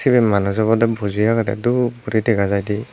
sibe manuch obode buji agede dup guri dega jaide.